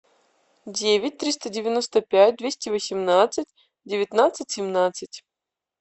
девять триста девяносто пять двести восемнадцать девятнадцать семнадцать